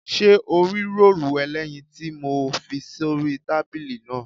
Ṣé o rí róòlù ẹlẹ́yin tí mo fi sórí tábìlì náà?